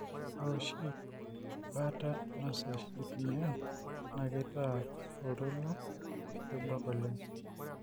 ore oshi ina baata nasesh itumiae naa keitaa oltoilo kebuak oleng.